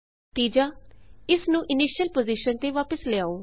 ਤੀਜਾ ਇਸ ਨੂੰ ਇਨੀਸ਼ਿਅਲ ਪੁਜ਼ੀਸ਼ਨ ਤੇ ਵਾਪਸ ਲਿਆਓ